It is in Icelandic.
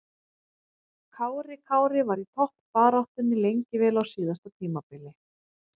Kári Kári var í toppbaráttunni lengi vel á síðasta tímabili.